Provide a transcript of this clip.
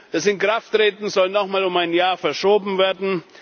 Das Inkrafttreten soll noch einmal um ein Jahr verschoben werden.